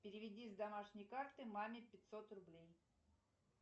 переведи с домашней карты маме пятьсот рублей